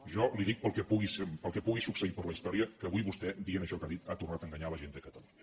jo li dic pel que pugui succeir per la història que avui vostè dient això que ha dit ha tornat a enganyar la gent de catalunya